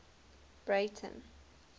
breyten